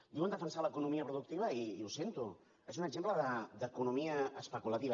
diuen defensar l’economia productiva i ho sento és un exemple d’economia especu lativa